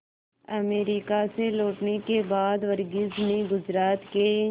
America से लौटने के बाद वर्गीज ने गुजरात के